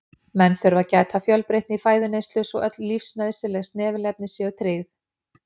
Menn þurfa að gæta fjölbreytni í fæðuneyslu svo öll lífsnauðsynleg snefilefni séu tryggð.